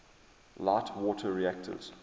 light water reactors